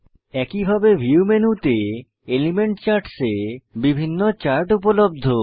একইভাবে ভিউ মেনুতে element charts এ বিভিন্ন চার্ট উপলব্ধ